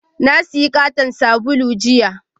Na sayi katon sabulu jiya